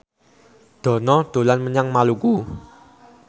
Dono dolan menyang Maluku